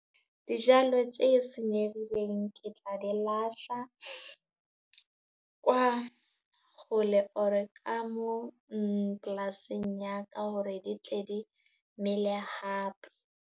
Dijalo tje senyegileng ke tla di lahla, kwa kgole or ka mo polasing ya ka hore di tle di mele hape.